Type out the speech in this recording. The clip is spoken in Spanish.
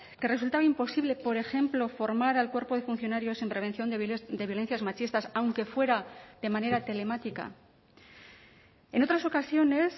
que resultaba imposible por ejemplo formar al cuerpo de funcionarios en prevención de violencias machistas aunque fuera de manera telemática en otras ocasiones